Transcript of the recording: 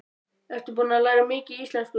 Ertu búin að læra mikið í íslensku?